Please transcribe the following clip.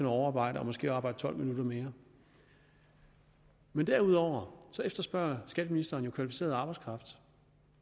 overarbejde og måske arbejde tolv minutter mere men derudover efterspørger skatteministeren jo kvalificeret arbejdskraft